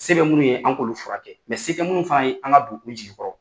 Se bɛ minnu ye an k'olu fura kɛ se tɛ minnu fana ye an ka u jigi kɔrɔ.